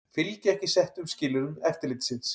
Fylgja ekki settum skilyrðum eftirlitsins